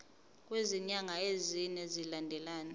kwezinyanga ezine zilandelana